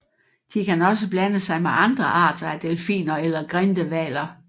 De kan også blande sig med andre arter af delfiner eller grindehvaler